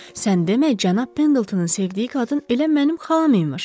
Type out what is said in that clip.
Sən demə, cənab Pendletonun sevdiyi qadın elə mənim xalam imiş.